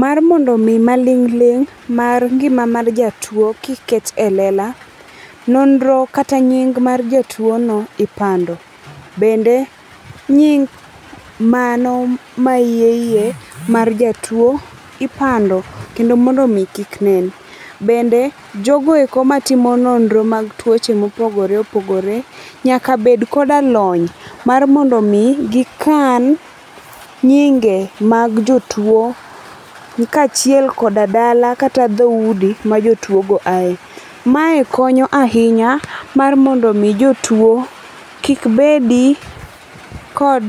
Mar mondo omi maling' ling' mar ngima mar jatuwo kik ket e lela, nonro kata nying mar jatuono ipando. Bende nying mano mayieyie mar jatuwo ipando kendo mondo omi kik nen. Bende, jogo eko matimo nonro mag tuoche mopogore opogore nyaka bed koda lony mar mondo omi gikan nyinge mag jotuwo kaachiel koda dala kata dho udi ma jotuwogo aye. Mae konyo ahinya mar mondo omi jotuwo kik bedi kod